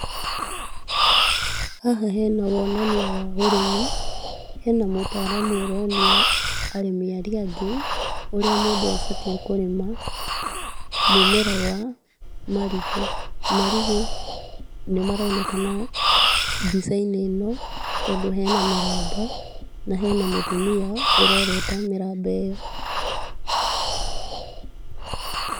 Haha hena wonania wa ũrĩmi, hena mũtaramu ũronia arĩmi arĩa angĩ ũrĩa mũndũ abatiĩ kũrĩma mũmera wa marigũ. Marigũ nĩmaronekana mbica-inĩ ĩno, tondũ hena mĩramba na hena mũtumia ũrorota mĩramba ĩyo.